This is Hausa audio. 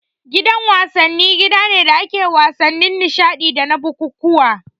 Gidan wasanni gida ne da ake wasannin nishadi dana bukukkuwa